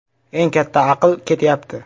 ‘Eng katta aql’ ketyapti.